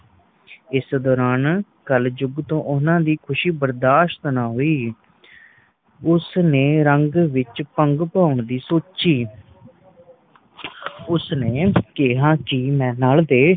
ਇਸ ਦੌਰਾਨ ਕਲਜੁਗ ਤੋਂ ਓਹਨਾ ਦੀ ਖੁਸ਼ੀ ਬਰਦਾਸ਼ਤ ਨਾ ਹੁਈ ਉਸ ਨੇ ਰੰਗ ਵਿਚ ਭੰਗ ਪਾਉਣ ਦੀ ਸੋਚੀ ਉਸ ਨੇ ਕਿਹਾ ਕੇ ਮੈਂ ਨੱਲ ਦੇ